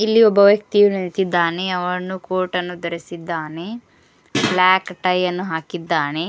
ಇಲ್ಲಿ ಒಬ್ಬ ವ್ಯಕ್ತಿಯು ನಿಂತಿದ್ದಾನೆ ಅವನು ಕೋಟನ್ನು ಧರಿಸಿದ್ದಾನೆ ಬ್ಲಾಕ್ ಟೈ ಅನ್ನು ಹಾಕಿದ್ದಾನೆ.